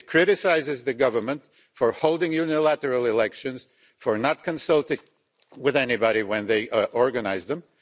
It criticises the government for holding unilateral elections, for not consulting with anybody when they organise them